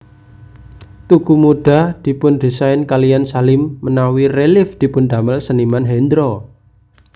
Tugu Muda dipun desain kaliyan Salim menawi Relief dipundamel Seniman Hendro